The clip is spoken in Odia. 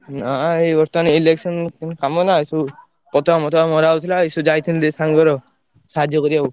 ନା ଏଇ ବର୍ତ୍ତମାନ election ଉଁ କାମ ନା ସବୁ, ପତାକା ମତକା ମରାହଉଥିଲା ଏଇ ସବୁ ଯାଇଥିଲୁ ଟିକେ ସାଙ୍ଗର ସାହାର୍ଯ୍ୟ କରିଆକୁ।